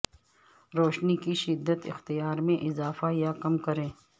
روشنی کی شدت اختیار میں اضافہ یا کم کریں